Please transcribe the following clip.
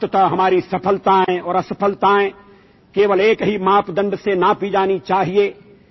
এই পৃথিৱীখনক এক উন্নত আৰু সুৰক্ষিত গ্ৰহ হিচাপে গঢ়ি তোলাত ভাৰতৰ অৱদান বিশ্বৰ বাবে এক ডাঙৰ অনুপ্ৰেৰণা